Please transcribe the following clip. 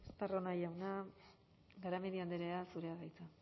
estarrona jauna garamendi andrea zurea da hitza